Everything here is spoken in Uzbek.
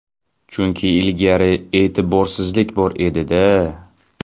Chunki ilgari e’tiborsizlik bor edi-da.